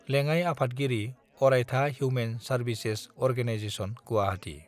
लेडाइ आफादगिरि अरायथा human services organisation Guwahati